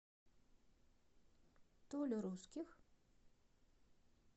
толю русских